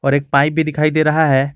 और एक पाइप भी दिखाई दे रहा है।